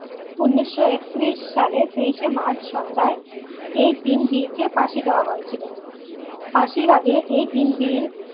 উনিশশো একত্রিশ সালের তেইশে মার্চ সন্ধ্যায় এই তিন বীরকে ফাঁসি দেওয়া হয়ে ছিল ফাঁসির আগে এই তিন বীর